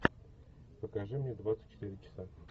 покажи мне двадцать четыре часа